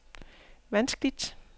vanskeligt